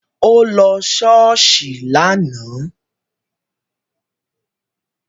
Ó lọ ṣọ́ọ̀ṣì lánàá